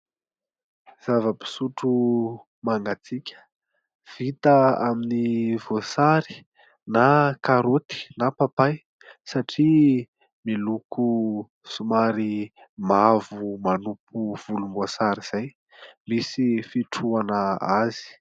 Zava-pisotro mangatsiaka, vita amin'ny voasary na karôty na papay satria miloko somary mavo manopy volomboasary izay, misy fitrohana azy.